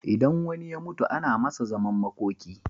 Idan wani ya mutu ana Masa zaman makoki